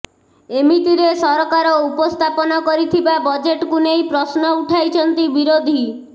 ଏମିତିରେ ସରକାର ଉପସ୍ଥାପନ କରିଥିବା ବଜେଟକୁ ନେଇ ପ୍ରଶ୍ନ ଉଠାଇଛନ୍ତି ବିରୋଧୀ